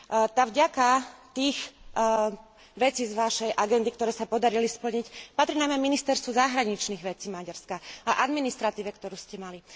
Tá vďaka tých vecí z vašej agendy, ktoré sa podarili splniť, patrí najmä ministerstvu zahraničných vecí Maďarska a administratíve, ktorú ste mali.